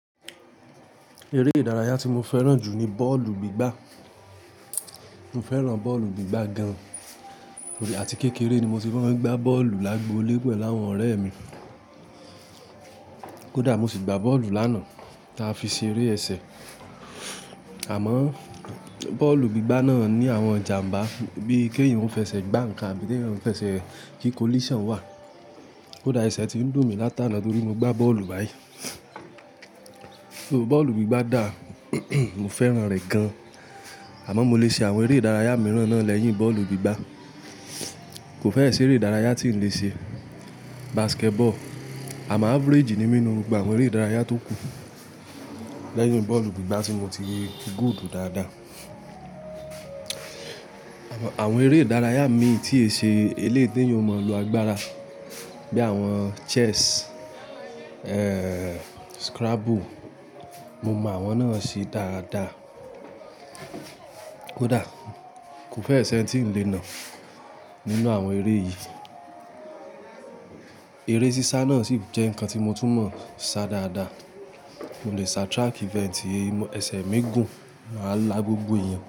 Eré ìdárayá tí mo fẹ́ràn jù ní bọ́ọ̀lù gbígbá. Mo fẹ́ràn bọ́ọ̀lù gbígbá gan-an àti kékeré ni mo ti mo n gbá bọ́ọ̀lù lágbòole pẹ̀lú áwọn ọ̀rẹ́ mi. Kódà mo sì gbá bọ́ọ̀lù lánàá, táa fi ṣe eré ẹsẹ̀. Àmọ́ bọ́ọ̀lù gbígbá náà ní àwọn ìjàmbá bí i keeyan o fẹsẹ̀ gbá nǹkan àbí keeyan o fẹsẹ̀ kí collision wà. Kódà ẹsẹ̀ ti ń dùn mí látàná torí mo gbá bọ́ọ̀lù báyìí. Bọ́ọ̀lù gbígbá dà, mo fẹ́ràn rẹ̀ gan-an. Àmọ́ mo lè ṣe àwọn eré ìdárayá mìíràn náà lẹ́yìn bọ́ọ̀lù gbígbá. Kò fẹ́ ẹ ṣe eré ìdárayá tí n lè ṣe basketball àmọ́ average ni mí nínú gbogbo àwọn eré ìdárayá tó kù lẹ́yìn bọ́ọ̀lù gbígbá tí mo ti good dáadáa. Àwọn eré ìdárayá mi tí e ṣe eléyìí tí eeyan o mọ lo agbára bí i àwọn chess, scrabble. Mo mọ àwọn náà ṣe dáadáa. Kódà kò fẹ́ ẹ ṣẹ́ n tí ń lé nà nínú àwọn eré yìí. Eré sísá náà sì jẹ́ ǹnkan tí mo tún mọ̀ sá dáadáa. Mo lè sá track event ẹ̀sẹ̀ mi gun máa lá gbogbo èèyàn.